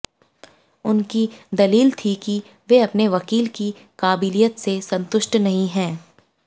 उनकी दलील थी कि वे अपने वकील की काबिलियत से संतुष्ट नहीं हैं